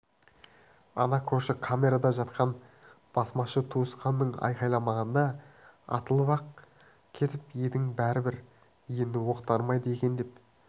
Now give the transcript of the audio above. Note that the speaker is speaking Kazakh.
ана көрші камерада жатқан басмашы туысқаның айқайламағанда атылып-ақ кетіп едің бәрібір енді оқ дарымайды екен деп